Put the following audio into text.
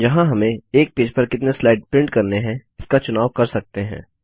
यहाँ हमें एक पेज पर कितने स्लाइड प्रिंट करने हैं इसका चुनाव कर सकते हैं